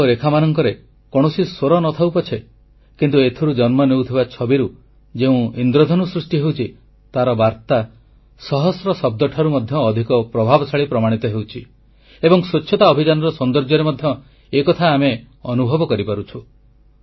ରଙ୍ଗ ଓ ରେଖାମାନଙ୍କରେ କୌଣସି ସ୍ୱର ନ ଥାଉ ପଛେ କିନ୍ତୁ ଏଥିରୁ ଜନ୍ମ ନେଉଥିବା ଛବିରୁ ଯେଉଁ ଇନ୍ଦ୍ରଧନୁ ସୃଷ୍ଟି ହେଉଛି ତାର ବାର୍ତା ସହସ୍ର ଶବ୍ଦଠାରୁ ମଧ୍ୟ ଅଧିକ ପ୍ରଭାବଶାଳୀ ପ୍ରମାଣିତ ହେଉଛି ଏବଂ ସ୍ୱଚ୍ଛତା ଅଭିଯାନର ସୌନ୍ଦର୍ଯ୍ୟରେ ମଧ୍ୟ ଏ କଥା ଆମେ ଅନୁଭବ କରିପାରୁଛୁ